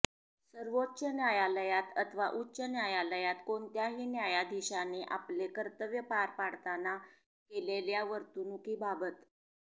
सर्वोच्च न्यायालयात अथवा उच्च न्यायालयात कोणत्याही न्यायाधीशाने आपले कर्तव्य पार पडताना केलेल्या वर्तणुकीबाबत